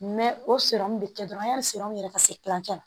o bɛ kɛ dɔrɔn yanni yɛrɛ ka se kilancɛ la